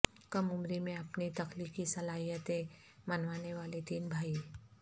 کم عمری میں اپنی تخلیقی صلاحیتیں منوانے والے تین بھائی